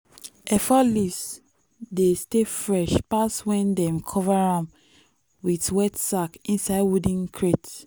efo leaves dey stay fresh pass when dem cover am with wet sack inside wooden crate.